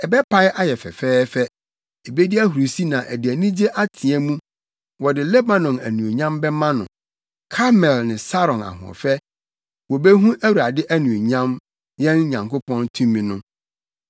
ɛbɛpae ayɛ fɛfɛɛfɛ ebedi ahurusi na ɛde anigye ateɛ mu, wɔde Lebanon anuonyam bɛma no Karmel ne Saron ahoɔfɛ; wobehu Awurade anuonyam, yɛn Nyankopɔn tumi no.